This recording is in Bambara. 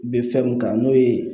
Bɛ fɛn mun kan n'o ye